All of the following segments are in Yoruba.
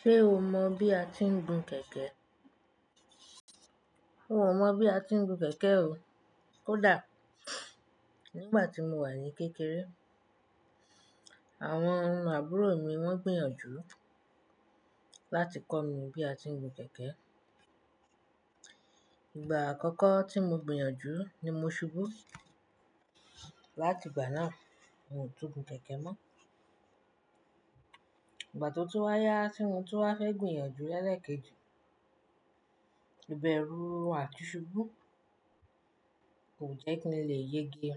Ṣé o mọ bí a ti ń gun kẹ̀kẹ́? Hun o mọ bí a ti ń gun kẹ̀kẹ́ o. Ko dà, Nígbà tí mo wà ní kékeré, àwọn àbúrò mi wọ́n gbìyànjú láti kọ́ mi bí a ti ń gun kẹ̀kẹ́. Ìgbà àkọ́kọ́ tí mo gbìyànjú ni mo ṣubú. Láti ìgbà náà, mio tún gun kẹ̀kẹ́ mọ́. Ìgbà tó tú wá yá tí mo tú á fẹ́ gbìyànjú lẹ́ẹ̀kejì, ibẹ̀rú à ti ṣubú, kò jẹ́ kíni lè yege.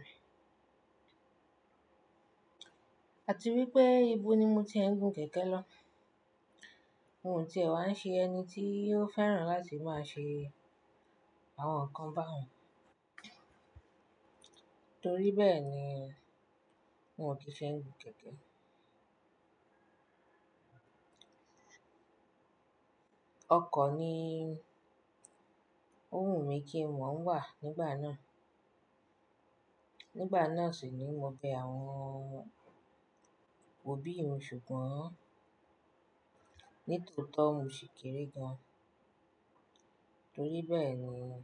Àti wípé ibo ni mo ti ń gun kẹ̀kẹ́ lọ? Mo n tìẹ wá ṣe ẹni tí yóò fẹ́ràn láti máa ṣe àwọn nǹkan bá wọn. Torí bẹ́ẹ̀ ni mio ti fẹ́ gun kẹ̀kẹ́. Ọkọ̀ ni ó wù mí kí n mo wà nígbà náà. Nígbà náà sì ni mo bẹ àwọn òbí mi ṣùgbọ́n nítòótọ́ mo sì keere gan-an. Torí bẹ́ẹ̀ ni wọ́n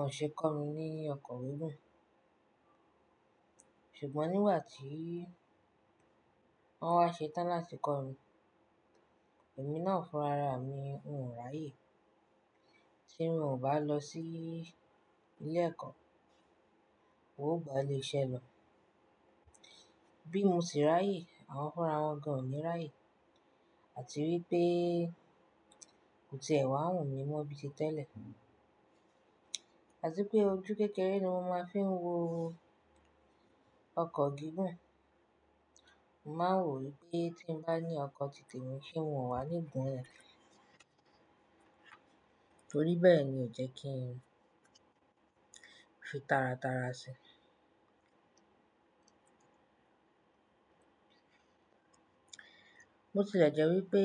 ò ṣe kọ́ mi ní ọkọ̀ gígun. Ṣùgbọ́n nígbà tí wọ́n wá ṣe tán láti kọ́ mi, èmi náà fúnra ra mi, n ò ráyè. Tí mo ò bá lọ sí ilé-ẹ̀kọ́, hun ò gba'léṣe lọ. Bí mo sì ráyè, àwọn fúnra wọn gan ò ní ráyè. Àti wípé kò ti ẹ̀ wá wùn mí mọ́ bí ti tẹ́lẹ̀. Àti pé ojú kékeré ni mo máa fi ń wo ọkọ̀ gígùn. Mo má n wò wípé tí n bá ní ọkọ̀ titẹ mi, se hun o wà ní gun ni. Torí bẹ́ẹ̀ ni ò jẹ́ kí n fi tàràtàrà sí i. Mo tilẹ̀ jẹ́ wípé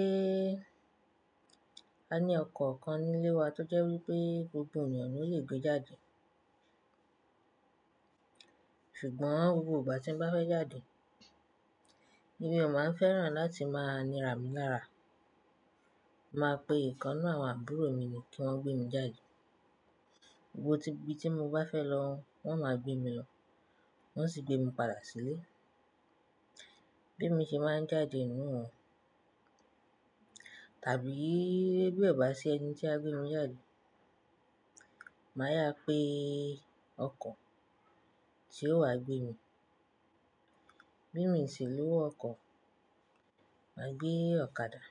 a ní ọkọ̀ kan nílé wa tó jẹ́ wípé gbogbo ènìyàn lo lè gbé jáde. Ṣùgbọ́n gbogbo ìgbà tí n bá fẹ́ jáde, mi o máa ń fẹ́ràn láti máa níra mìí larà, màá pe ikan ninú àwọn àbúrò mi ní kí wọ́n gbé mi jáde. Gbogbo ibi tí mo bá fẹ́ lọ, wọ́n máa gbé mi lọ. Wọ́n sì gbé mi padà sílé. Bí mo ṣe máa ń jáde nínú wọn, tàbí bí bi o bá ṣi ẹni tí á gbé mi jáde, màá yá pé ọkọ̀ tí yóò wá gbé mi. Bí mo sì lowo ọkọ̀, màá gbé ọ̀kadà.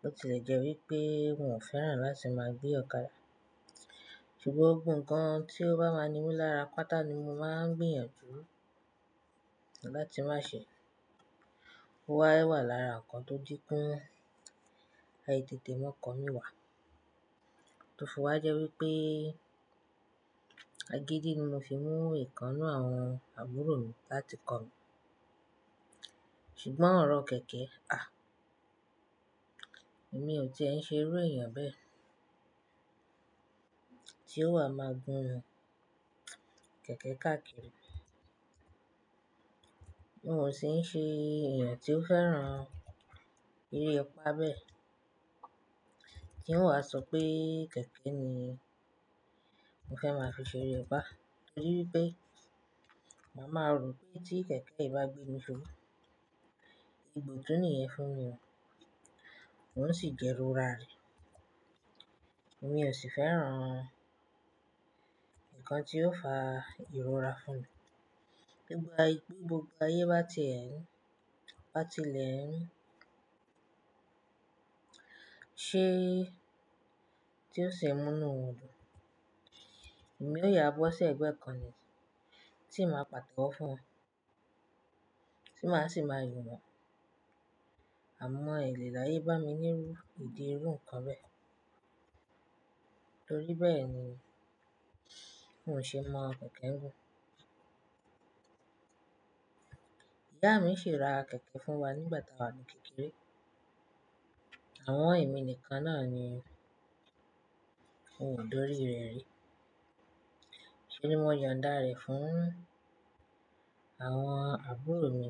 bÓ tilẹ̀ jẹ́ wípé n ò fẹ́ràn láti máa gbé ọ̀kadà. Ṣùgbọ́n gbogbo nkan tí ó bá máa ni mí lára pátá ni mo máa ń gbìyànjú láti máa ṣe. Ó wá wà lára nǹkan tó je pẹ ai tetẹ́ mọ́ko mí wà. Tòfi wá jẹ́ wípé àgídí ni mo fi mú ìkan n'nú àwọn àbúrò mi láti kọ́ mi. Ṣùgbọ́n ọ̀rọ̀ kẹ̀kẹ́, à, èmi ò ti ẹ ń ṣe iru ènìyàn bẹ́ẹ̀ tí ó wà máa gun kẹ̀kẹ́ káàkiri. N ò sì ń ṣe ènìyàn tí ó fẹ́ràn eré ipá bẹ́ẹ̀ tí ó wáa sọ pé kẹ̀kẹ́ ni mo fẹ́ máa fi ṣe eré apá. Torí wípé, màá mọ̀ ro pé tí kẹ̀kẹ́ yìí bá gbé mi ṣubu ibùdó nìyẹn fún mi o. N ó sì jẹ́ rọra rẹ̀. Èmi ò sì fẹ́ràn nǹkan tí yóò fa ìrora fún mi. Gbogbo ayé bá ti ẹ, bá ti lẹ́, ṣé tí ó ṣe mú inú won dùn. Èmi ó yà bó ṣe ẹgbẹ́ kan ni tí màá pàtewo fún wọn, tí màá sì máa yin wọ́n. A mọ elẹ̀ láyé bá mi nínú ìdí irú nǹkan bẹ́ẹ̀. Torí bẹ́ẹ̀ ni n ò ṣe mọ̀ ọ kẹ̀kẹ́ ń gùn. Ìyá mi ṣe ra kẹ̀kẹ́ fún wa nígbà tí a wà ní kékeré. Àmon èmi nìkan náà ni ó dòrí rẹ̀ rí. Ṣé ni wọ́n yon dá re fún àwọn àbúrò mi.